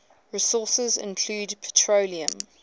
resources include petroleum